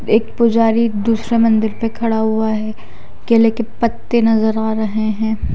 एक पुजारी दूसरे मंदिर पे खड़ा हुआ है केले के पत्ते नजर आ रहा है।